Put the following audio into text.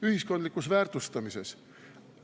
Ühiskondlikus väärtustamises!